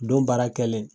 Don baara kɛlen